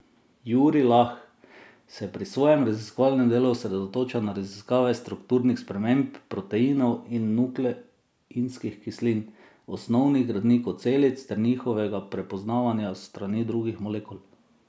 Jurij Lah se pri svojem raziskovalnem delu osredotoča na raziskave strukturnih sprememb proteinov in nukleinskih kislin, osnovnih gradnikov celic, ter njihovega prepoznavanja s strani drugih molekul.